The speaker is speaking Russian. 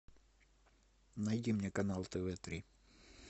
найди мне канал тв три